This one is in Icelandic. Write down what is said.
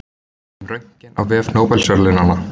Um Röntgen á vef Nóbelsverðlaunanna.